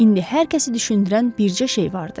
İndi hər kəsi düşündürən bircə şey vardı.